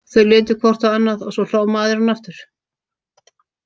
Þau litu hvort á annað og svo hló maðurinn aftur.